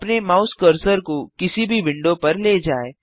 अपने mouse cursor को किसी भी विंडो पर ले जाएँ